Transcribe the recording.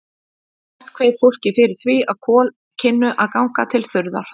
Mest kveið fólk fyrir því, að kol kynnu að ganga til þurrðar.